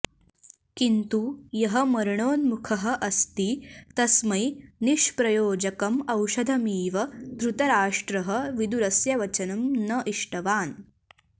किन्तु यः मरणोन्मुखः अस्ति तस्मै निष्प्रयोजकम् औषधमिव धृतराष्ट्रः विदुरस्य वचनं न इष्टवान्